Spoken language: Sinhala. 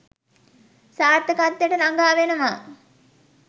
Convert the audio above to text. සාර්ථකත්වයට ළඟා වෙනවා.